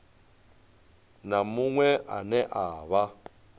na muṅwe ane a vha